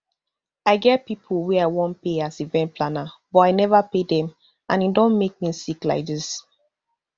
i get pipo wey i wan pay as event planner but i neva pay dem and e don make me sick like dis